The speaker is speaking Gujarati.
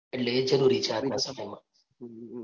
એટલે એ જરૂરી છે આજ નાં સમય માં.